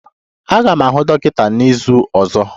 Aga m ahụ dọkịta n'izu ọzọ.